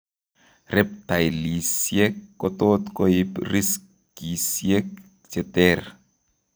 Reptilesiek kotot koib riskisiek cheter